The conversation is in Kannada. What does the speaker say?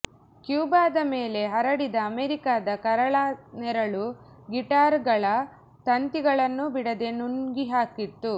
ಕ್ಯೂಬಾದ ಮೇಲೆ ಹರಡಿದ ಅಮೇರಿಕಾದ ಕರಾಳ ನೆರಳು ಗಿಟಾರ್ ಗಳ ತಂತಿಗಳನ್ನೂ ಬಿಡದೆ ನುಂಗಿಹಾಕಿತ್ತು